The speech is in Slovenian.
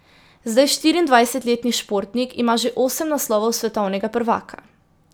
Zdaj štiriindvajsetletni športnik ima že osem naslovov svetovnega prvaka.